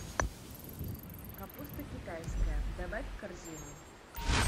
капуста китайская добавь в корзину